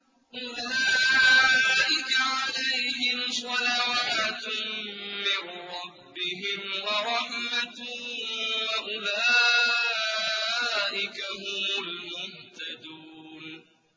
أُولَٰئِكَ عَلَيْهِمْ صَلَوَاتٌ مِّن رَّبِّهِمْ وَرَحْمَةٌ ۖ وَأُولَٰئِكَ هُمُ الْمُهْتَدُونَ